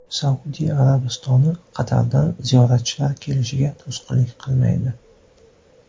Saudiya Arabistoni Qatardan ziyoratchilar kelishiga to‘sqinlik qilmaydi.